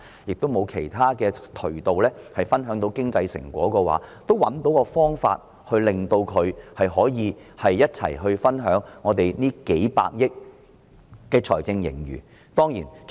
即使他們不能透過其他渠道分享經濟成果，我們也能找到方法與他們一同分享幾百億元的財政盈餘。